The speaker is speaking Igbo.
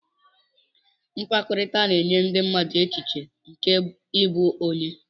Mkpakọrịta na-enye ndị mmadụ echiche nke ịbụ onye.